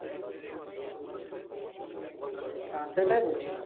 হ্যাঁ সেটাই বলছিলাম